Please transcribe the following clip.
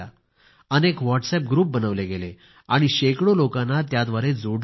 अनेक WhatsApp group बनवले गेले आणि शेकडो लोकांना त्याद्वारे जोडलं गेलं